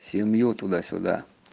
семью туда-сюда